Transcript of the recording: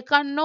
একান্ন